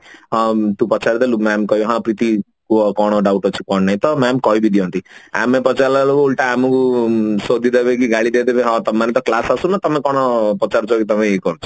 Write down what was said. ଅ ତୁ ପଚାରି ଦେଲୁ mam କହିଲେ ହଁ ପ୍ରୀତି କୁହ କଣ doubt ଅଛି କି କଣ ନାହିଁ ତ mam କହିବି ଦିଅନ୍ତି ଆମେ ପଚାରିଲା ବେଳକୁ ଓଲଟା ଆମକୁ ସୋଦି ଦେବେ କି ଗାଳି ଦେବେ କହିବେ ହଁ ତମେ ମନେ ତ class ଆସୁନ ତମେ କଣ ପଚାରୁଛ ତମେ ଇଏ କରୁଛ